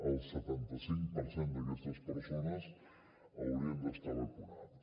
el setanta cinc per cent d’aquestes persones haurien d’estar vacunades